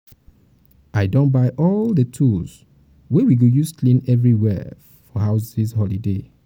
i don buy all the tools wey we go use clean everywhere for house dis holiday.